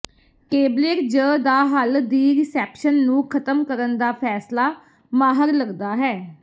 tablet ਜ ਦਾ ਹੱਲ ਦੀ ਰਿਸੈਪਸ਼ਨ ਨੂੰ ਖਤਮ ਕਰਨ ਦਾ ਫੈਸਲਾ ਮਾਹਰ ਲੱਗਦਾ ਹੈ